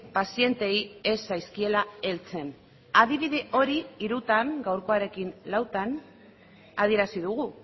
pazienteei ez zaizkiela heltzen adibide hori hirutan gaurkoarekin lautan adierazi dugu